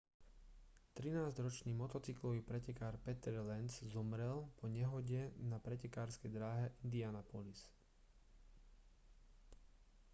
trinásťročný motocyklový pretekár peter lenz zomrel po nehode na pretekárskej dráhe indianapolis